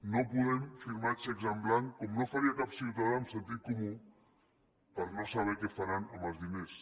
no podem firmar xecs en blanc com no ho faria cap ciutadà amb sentit comú per no saber què faran amb els diners